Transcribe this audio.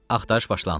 Axtarış başlandı.